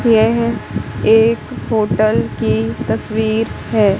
यह एक होटल की तस्वीर है।